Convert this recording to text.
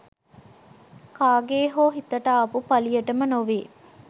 කාගේ හෝ හිතට ආපු පලියටම නොවේ